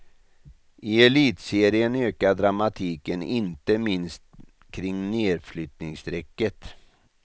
I elitserien ökar dramatiken inte minst kring nedflyttningsstrecket.